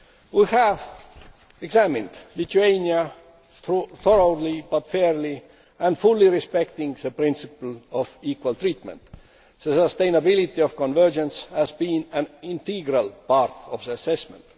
We have examined Lithuania thoroughly but fairly and fully respecting the principle of equal treatment. The sustainability of convergence has been an integral part of the assessment.